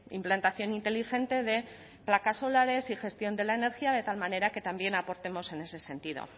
implantación inteligente de placas solares y gestión de la energía de tal manera que también aportemos en ese sentido